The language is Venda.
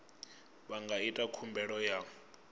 vha nga ita khumbelo ya